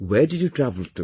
Where did you travel to